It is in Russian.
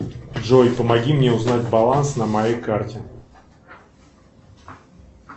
джой помоги мне узнать баланс на моей карте